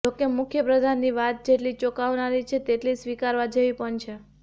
જો કે મુખ્યપ્રધાનની વાત જેટલી ચોંકાવનારી છે તેટલી સ્વીકારવા જેવી પણ છે